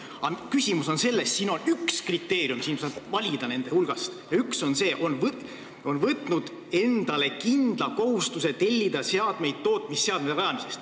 Aga küsimus on selles, et nende kriteeriumide hulgast saab valida ja üks nõue on see: taotleja on võtnud endale kindla kohustuse tellida seadmeid tootmise alustamiseks.